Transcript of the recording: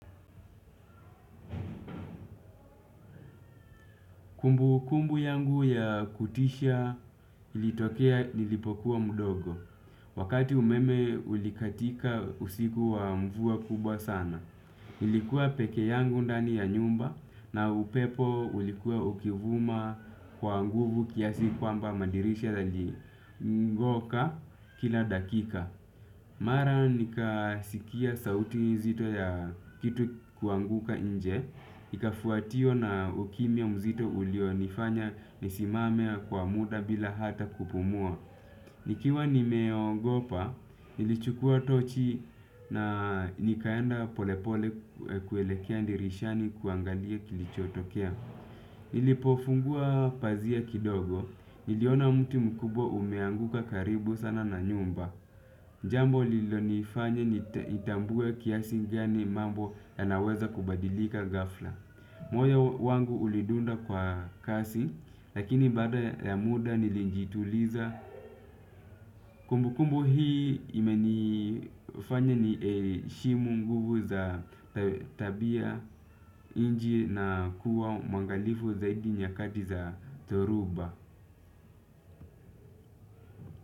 Kumbukumbu yangu ya kutisha ilitokea nilipokuwa mdogo. Wakati umeme ulikatika usiku wa mvua kubwa sana. Nilikuwa peke yangu ndani ya nyumba na upepo ulikuwa ukivuma kwa nguvu kiasi kwamba madirisha yaligoka kila dakika. Mara nikasikia sauti nzito ya kitu kuanguka nje, nikafuatia na ukimya mzito ulionifanya nisimame kwa muda bila hata kupumua. Nikiwa nimeogopa, nilichukua tochi na nikaenda polepole kuelekea dirishani kuangalia kilichotokea. Nilipofungua pazia kidogo, niliona mtu mkubwa umeanguka karibu sana na nyumba. Jambo lililo nifanya nitambue kiasi gani mambo yanaweza kubadilika ghafla. Moyo wangu ulidunda kwa kasi, lakini baada ya muda nilijituliza. Kumbukumbu hili limenifanya niheshimu nguvu za tabia nje na kuwa mwangalifu zaidi nyakati za dhoruba.